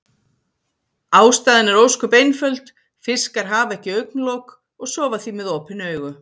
Ástæðan er ósköp einföld, fiskar hafa ekki augnlok og sofa því með opin augu.